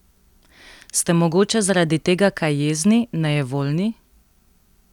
Ste mogoče zaradi tega kaj jezni, nejevoljni?